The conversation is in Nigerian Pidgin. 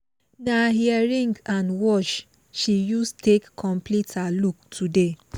na earring and watch she use take complete her look today